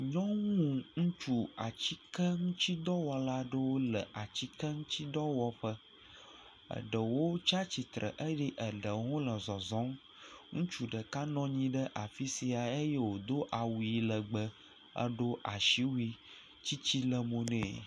Nyɔnu ŋutsu atike ŋuti dɔwɔla aɖe wole atike ŋuti dɔ wɔƒe. Eɖewo tsi atsitre eye eɖewo nɔ zɔzɔm. Ŋutsu ɖeka nɔ anyi ɖe afisia eye wodo awu legbẽ, Edo asiwuie, tsitsi le mo ne.